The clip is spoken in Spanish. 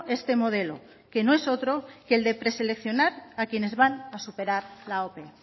este modelo que no es otro que el preseleccionar a quienes van a superar la ope